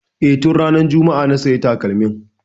E, tun ranar juma'a na sayi takalmin.